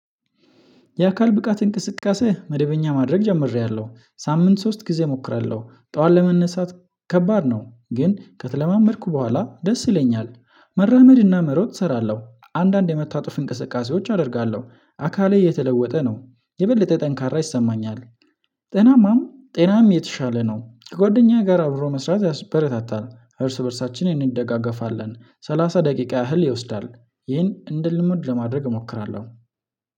የአካል ብቃት እንቅስቃሴ መደበኛ ማድረግ ጀምሬያለሁ። ሳምንት ሶስት ጊዜ እሞክራለሁ። ጠዋት ለመነሳት ከባድ ነው። ግን ከተለማመድኩ በኋላ ደስ ይለኛል። መራመድና መሮጥ እሰራለሁ። አንዳንድ የመታጠፍ እንቅስቃሴዎች አደርጋለሁ። አካሌ እየተለወጠ ነው። የበለጠ ጠንካራ ይሰማኛል። ጤናማም ጤናም የተሻለ ነው። ከጓደኛ ጋር አብሮ መስራት ያስበረታታል። እርስ በእርሳችን እንደጋገፋለን። ሰላሳ ደቂቃ ያህል ይወስዳል። ይህን እንደ ልምድ ለማድረግ እሞክራለሁ።